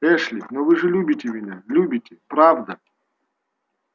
эшли но вы же любите меня любите правда